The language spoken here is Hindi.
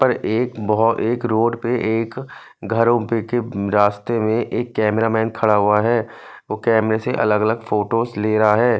पर एक बहोत एक रोड पर एक घरोपेके रास्ते में एक कामरेअमें खड़ा हुआ है वो कैमरे से अलग अलग फोटोस ले रहा है।